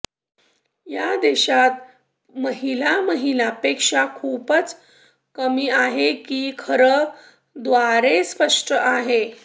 या देशात महिला महिला पेक्षा खूपच कमी आहे की खरं द्वारे स्पष्ट आहे